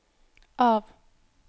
av